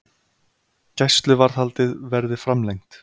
Gæsluvarðhaldið verði framlengt